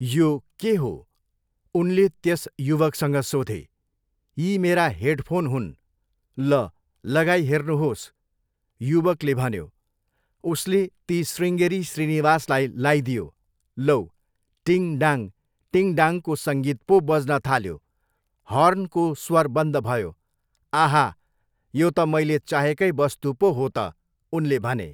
यो के हो?' उनले त्यस युवकसँग सोधे। 'यी मेरा हेडफोन हुन्। ल, लगाइहेर्नुहोस्,' युवकले भन्यो। उसले ती शृङगेरी श्रीनिवासलाई लाइदियो। लौ, टिङ, डाङ, टिङ, डाङको सङ्गीत पो बज्नथाल्यो। हर्नको स्वर बन्द भयो। 'आहा! यो त मैले चाहेकै वस्तु पो हो त!' उनले भने।